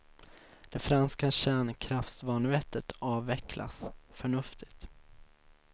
Det franska kärnkraftsvanvettet avvecklas, förnuftigt.